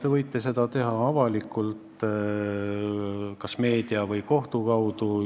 Te võite seda teha avalikult kas meedia või kohtu kaudu.